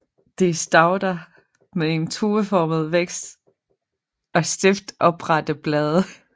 Det er stauder med en tueformet vækst og stift oprette blade